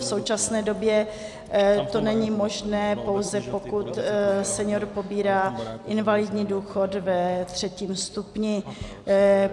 V současné době to není možné, pouze pokud senior pobírá invalidní důchod ve třetím stupni.